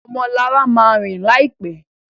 Ọmọ Lara má rìn láìpé.